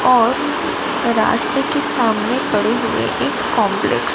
और रास्ते के सामने पड़े हुए एक कॉम्प्लेक्स --